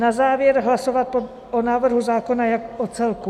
Na závěr hlasovat o návrhu zákona jako celku.